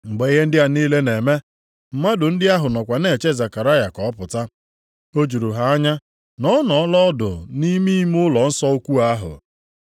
Mgbe ihe ndị a niile na-eme, mmadụ ndị ahụ nọkwa na-eche Zekaraya ka ọ pụta. O juru ha anya na ọ nọọla ọdụ nʼime ime ụlọnsọ ukwu ahụ.